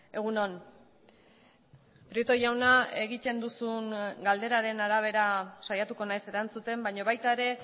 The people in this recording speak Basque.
egun on prieto jauna egiten duzun galderaren arabera saiatuko naiz erantzuten baina baita ere